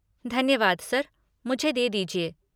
धन्यवाद सर, मुझे दे दीजिए।